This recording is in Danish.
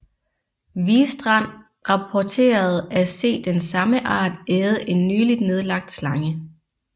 Wistrand rapporterede at se den samme art æde en nyligt nedlagt slange